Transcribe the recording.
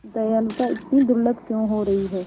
दयालुता इतनी दुर्लभ क्यों हो रही है